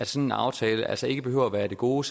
sådan aftale altså ikke behøver være af det gode